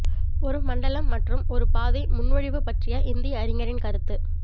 ஒரு மண்டலம் மற்றும் ஒரு பாதை முன்மொழிவு பற்றிய இந்திய அறிஞரின் கருத்து